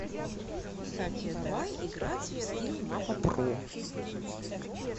давай играть в скилл мапа про